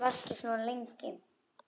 Af hverju varstu svona lengi?